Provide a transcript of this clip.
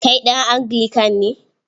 Kai ɗan Anglican ne?